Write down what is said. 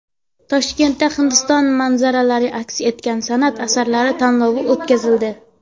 Toshkentda Hindiston manzaralari aks etgan san’at asarlari tanlovi o‘tkazildi.